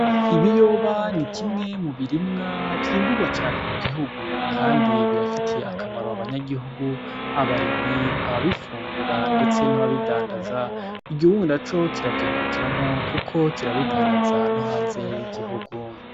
Ibiyoba n'ikimwe mubirimwa vyimbugwa cane mu gihugu kandi bibafitiye akamaro abanyagihugu, abarimyi, ababifungura ndetse n'ababidandaza igihugu naco kiravyungukiramwo kuko kirabidandaza nohanze y'igihugu.